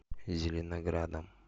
зеленоградом